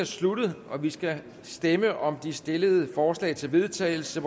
sluttet og vi skal stemme om de stillede forslag til vedtagelse